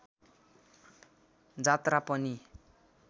जात्रा पनि